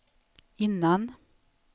innan